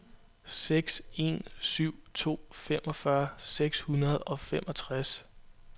seks en syv to femogfyrre seks hundrede og femogtres